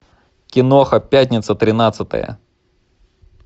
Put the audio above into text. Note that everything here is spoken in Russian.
киноха пятница тринадцатое